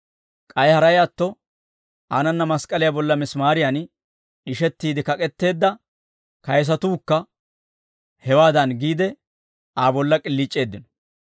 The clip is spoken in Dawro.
K'ay haray atto, aanana mask'k'aliyaa bolla misimaariyan d'ishettiide kak'etteedda kayisatuukka hewaadan giide, Aa bolla k'iliic'eeddino.